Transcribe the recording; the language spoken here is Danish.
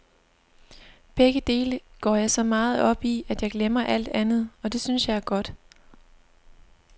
Begge dele går jeg så meget op i, at jeg glemmer alt andet, og det synes jeg er godt.